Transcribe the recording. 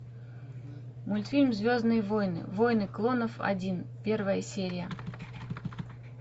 мультфильм звездные войны войны клонов один первая серия